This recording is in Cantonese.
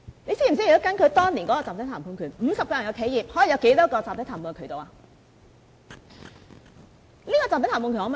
你知否若根據當年的集體談判權 ，50 人的企業，可以有多少個集體談判渠道？